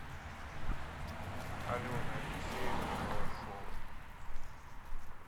алены алексеевны балашовой